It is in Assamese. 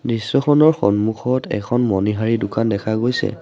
দৃশ্যখনৰ সন্মুখত এখন মণিহাৰি দোকান দেখা গৈছে।